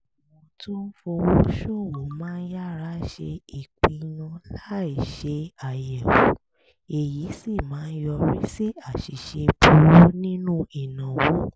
àwọn tó ń fowó ṣòwò máa yára ṣe ìpinnu láìṣe àyẹ̀wò èyí sì máa yọrí sí àṣìṣe burú nínú ìnáwó